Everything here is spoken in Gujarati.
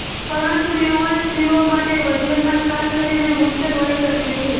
પરંતુ યુવાન સ્ત્રીઓ માટે વજનમાં ખાસ કરીને મુશ્કેલ હોઈ શકે છે